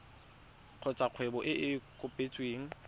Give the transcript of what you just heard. kgotsa kgwebo e e kopetsweng